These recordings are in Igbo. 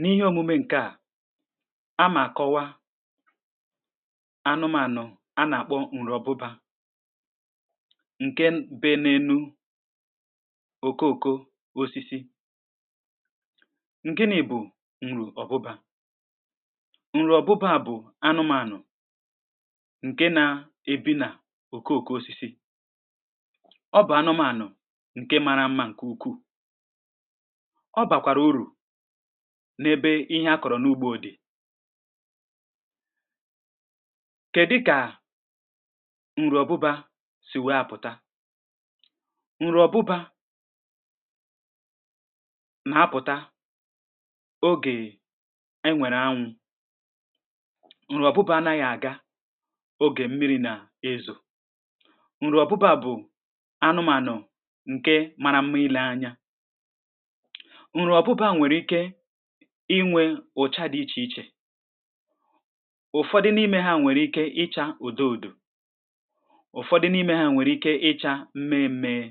n’ihe òmume ǹkè a a mà kọwa anụmànụ̀ a nà-àkpọ ǹrọ̀ obụbà um ǹke bė ne nu òko òko osisi um ǹ-gini bù ǹrò̀ ọ̀bụbá ǹrò̀ ọ̀bụbá bụ̀ anụmànụ̀ ǹke na-ebi nà òko òko osisi um ọ bụ̀ anụmànụ̀ ǹke mara mma ǹkè ukwuù ọ bàkwàrà urù n’ebe ihe a kọ̀rọ̀ n’ugbȯ dị̀ kè dịkà ǹrụ̀ ọ̀bụbȧ sì wee pụ̀ta um ǹrụ̀ ọ̀bụbȧ nà pụ̀ta ogè e nwèrè anwụ̇ um ǹrụ̀ ọ̀bụbȧ naghị̀ àga ogè mmiri̇ nà ẹzọ̀ ǹrụ̀ ọ̀bụbȧ bụ̀ anụmànụ̀ ǹkẹ mara mmi lee anyȧ um ǹrụ̀ ọ̀bụbà nwèrè ike inwė ụ̀cha dị ichè ichè ụ̀fọdị n’ime ha nwèrè ike icha ụ̀dọ ụ̀dọ ụ̀fọdị n’ime ha nwèrè ike icha mme mmee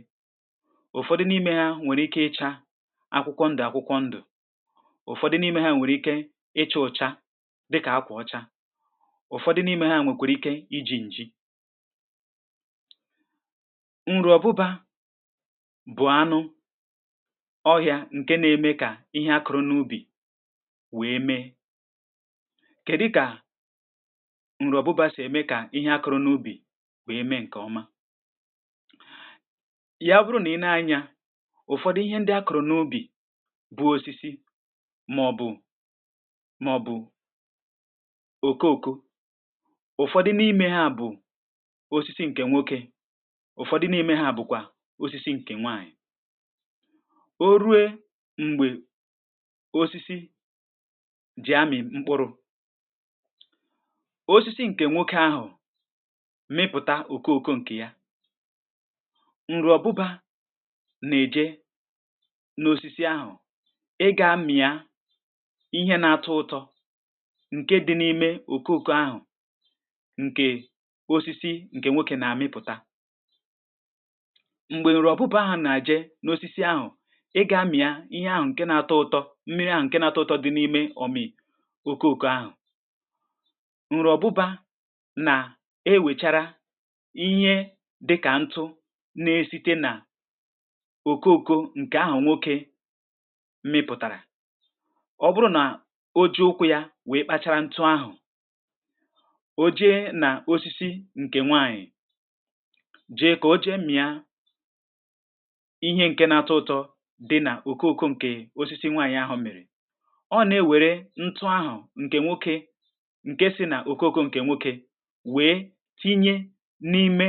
ụ̀fọdị n’ime ha nwèrè ike icha akwụkwọ ndụ̀ akwụkwọ ndụ̀ ụ̀fọdị n’ime ha nwèrè ike iche ụ̀cha dịkà akwụ̀ ọcha ụ̀fọdị n’ime ha nwèkwèrè ike iji̇ ǹji um ǹrụ̀ ọ̀bụbà bu anu ohia nke na ème kà ihe akụrụ n’ubì wee mee kedi ka nru obuba si eme ka ihe akụrụ n‘ubì wee mee nke oma um yà abụrụ nà i nee anya ụ̀fọdụ ihe ndị akụ̀rụ̀ n’ubì bụ̀ osisi màọ̀bụ̀ màọ̀bụ̀ òkòòkò ụ̀fọdụ n’ime ha bụ̀ osisi ǹkè nwokė ụ̀fọdụ n’ime ha bụ̀kwà osisi ǹkè nwanyị̀ oru m̀gbè osisi jì amị̀ mkpụrụ̇ um osisi ǹkè nwokė ahụ̀ mịpụta òkòo òkò ǹkè ya ǹrụ̀ ọ̀bụbȧ nà-èje n’osisi ahụ̀ ị gȧ-mị̀a ihẹ na-atọ ụtọ ǹke dị n’ime òkòo òkò ahụ̀ ǹkè osisi ǹkè nwokė nà-àmịpụ̀ta um m̀gbè ǹrụ̀ ọ̀bụbȧ ahụ̀ nà-àje n’osisi ahụ̀ í gá-mị̀a ihe ahụ̀ ǹke na-atọ ụtọ mmiri ahu nke na-atọ ụtọ dị n’ime ọ̀mị̀ òké òké ahụ̀ ǹru ọ̀bụbȧ nà e wèchàrà ihe dịkà ntụ na-esite nà òké òké ǹkè ahụ̀ nwokė mịpụ̀tàrà ọ bụrụ nà o ji ụkwụ̇ ya wèe kpachara ntụ ahụ̀ o jee nà osisi ǹkè nwaànyị̀ um jee kà o jee mmìa ihe ǹke na-atọ ụtọ di na oko oko nke osisi nwanyi ahu miri ọ nà-ewère ntụ ahụ̀ ǹkè nwoke ǹke si nà òkóóko ǹkè nwoke wèe tinye n’ime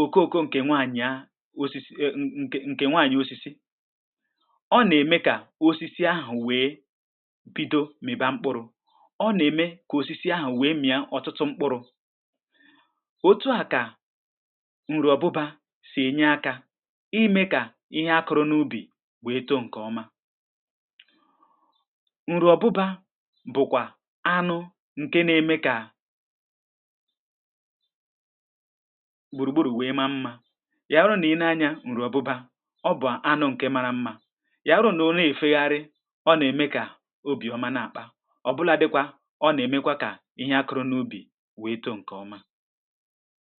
òkóóko ǹkè nwaànyìa osisi e e nke ǹkè nwaànyìa osisi ọ nà-ème kà osisi ahụ̀ wee bido mị̀ba mkpụrụ̇ ọ nà-ème kà osisi ahụ̀ wee mị̀a ọtụtụ mkpụrụ̇ òtù a kà nrụ̀ ọbụba sì enye akȧ imė kà ihe akuru n’ubi wèe too ǹkè ọma um ǹrù ọ̀bụbȧ bụ̀kwà anụ ǹke na-eme kà gbùrùgbùrù wèe ma mmȧ yawụrụ nà ị nȧ-anya ǹrù ọbụbȧ ọ bụ̀ anụ ǹke mara mmȧ yawụrụ nà òle è fegharị ọ nà-ème kà obì ọma na-àkpa ọbụla dịkwa ọ nà-èmekwa kà ihe akụrụ n’ubì wèe too ǹkè ọma